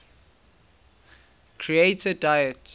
creator deities